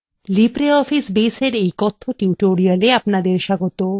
libreoffice base এর এই কথ্য tutorialএ আপনাদের স্বাগত